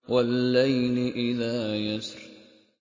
وَاللَّيْلِ إِذَا يَسْرِ